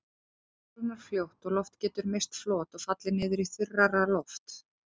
Þar kólnar fljótt og loft getur misst flot og fallið niður í þurrara loft.